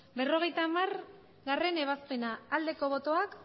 berrogeita hamargarrena ebazpena aldeko botoak